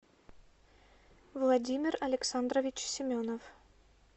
владимир александрович семенов